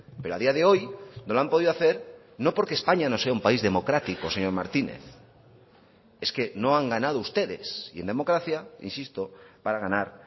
pero a día de hoy no lo han podido hacer no porque españa no sea un país democrático señor martínez es que no han ganado ustedes y en democracia insisto para ganar